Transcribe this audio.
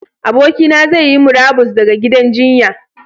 Abokina zai yi murabus ɗaga gidan jinya.